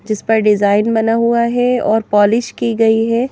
जिस पर डिज़ाइन बना हुआ है और पॉलिश की गई है।